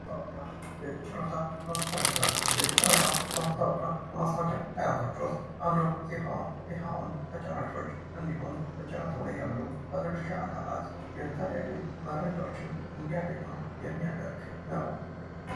ማስታወቂያ የጨረታ ማስታወቂያ የጨረታ ማስታወቂያ ከማስታወቂያ አይነቶች ውስጥ አንዱ ሲሆን ይኸውም ተጫራቾች እንዲሁም በጨረታው ላይ ያሉ ባለድርሻ አካላት የተለያዩ መረጃዎችን እንዲያገኙ የሚያደርግ ነው።